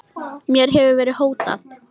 Mér hefur verið hótað